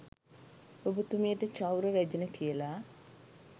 ඔබතුමියට චෞර රැජින කියල